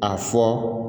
A fɔ